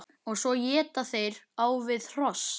Og svo éta þeir á við hross!